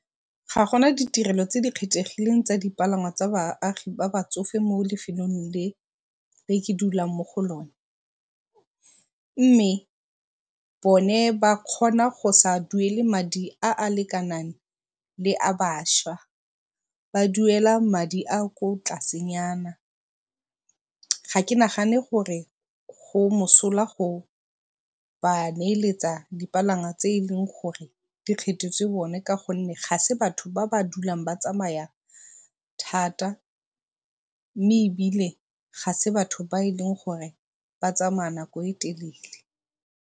Ga gona ditirelo tse di kgethegileng tsa ditirelo tsa baagi ba ba tsofe mo lefelong le ke dulang mo go lone. Mme bone ba kgona go sa duele madi a a lekanang le a bašwa, ba duela madi a a ko tlasenyana. Ga ke nagane gore go mosola go ba neeletsa dipalangwa tse e leng gore di kgethetsewe bone ka gonne ga e se batho ba ba dulang ba tsamaya thata mme ebile ga e se batho ba e e leng gore ba tsamaya nako e telele.